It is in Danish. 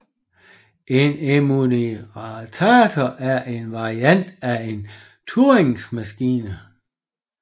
En enumerator er en variant af en Turingmaskine